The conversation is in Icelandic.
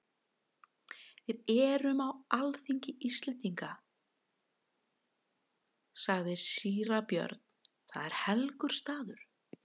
Við erum á alþingi Íslendinga, sagði síra Björn,-það er helgur staður.